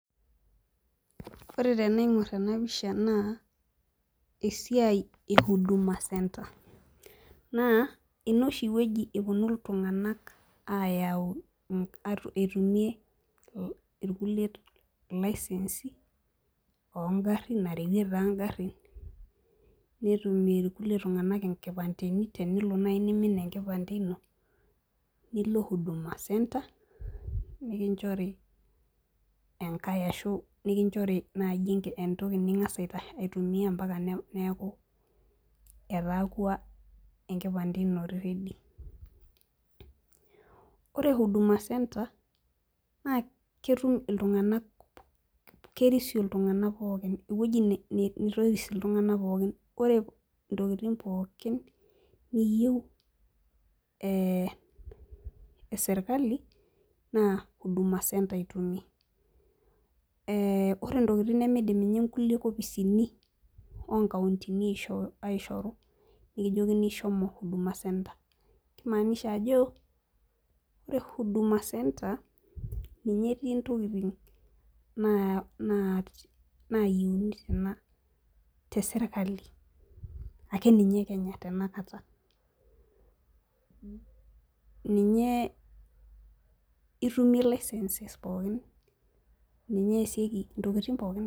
Ore tenaing'orr ena pisha naa esiai e huduma centre naa ina oshi wueji eponu iltung'anak ayau ink etumie irkulie ilaisensi ongarrin narewie taa ingarrin netumie irkulie tung'anak inkipandeni tenelo naaji nimin enkipande ino nilo huduma centre nikinchori enkae ashu nikinchori naaji entoki ning'as aita aitumia ampaka neeku etaakua enkipande ino ready ore huduma centre naa ketum iltung'anak kerisio iltung'anak pookin ewueji ni nitoris iltung'anak pookin ore intokitin pookin niyieu eh eserkali naa huduma centre itumie eh ore intokiting nemeidim ninye inkulie kopisini onkauntini aishoo aishoru nikijokini shomo huduma centre kimaanisha ajo ore huduma centre ninye etii intokiting naa naayieuni tena teserkali akeninye ekenya tenakata ninye itumie licenses pookin ninye eesieki intokiting pookin.